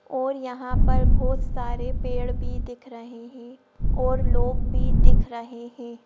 और यहां पर बहुत सारे पेड़ भी दिख रहे हैं और लोग भी दिख रहे हैं।